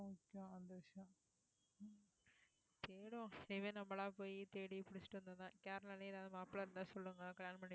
இனிமேல் நம்மளா போயி தேடி புடிச்சிட்டு வந்து தான், கேரளால ஏதாவது மாப்பிள்ளை இருந்தா சொல்லுங்க கல்யாணம் பண்ணிப்போம்